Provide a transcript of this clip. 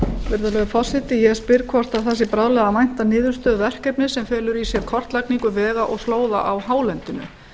virðulegur forseti ég spyr hvort bráðum sé að vænta niðurstöðu verkefnis sem felur í sér kortlagningu vega og slóða á hálendinu það